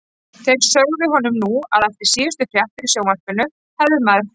Þeir sögðu honum nú að eftir síðustu fréttir í sjónvarpinu hefði maður frá